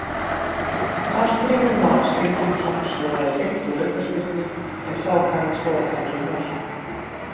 Hallgrímur Mar Steingrímsson skoraði beint úr aukaspyrnu, en sá kann að skora falleg mörk.